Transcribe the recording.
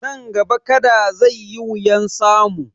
Nan gaba Kada zai yi wuyan samu